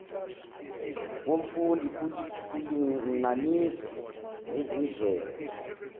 womfundi kulinganiswa nezindlela